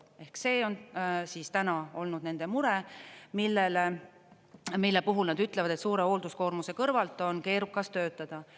Ehk see on täna olnud nende mure, mille puhul nad ütlevad, et suure hoolduskoormuse kõrvalt on keerukas töötada.